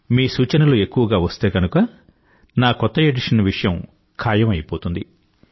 మీ సూచనలు ఎక్కువగా వస్తే గనుక నా కొత్త ఎడిషన్ విషయం ఖాయం అయిపోతుంది